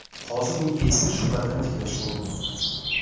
Hozir u eski shuhratini tiklashga urinmoqda.